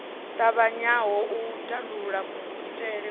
ṱavhanyaho u tandulula kuitele ku